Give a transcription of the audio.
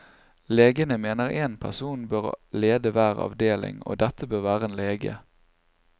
Legene mener én person bør lede hver avdeling, og dette bør være en lege.